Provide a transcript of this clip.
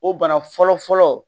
O bana fɔlɔfɔlɔ